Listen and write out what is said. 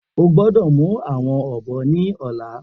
O gbọdọ mu awọn ọbọ ni ọla!